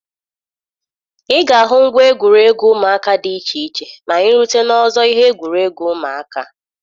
Ị ga-ahụ ngwa egwuregwu ụmụaka dị iche iche ma anyị rute n'ọzọ ihe egwuregwu ụmụaka.